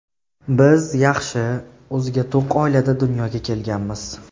Biz yaxshi, o‘ziga to‘q oilada dunyoga kelganmiz.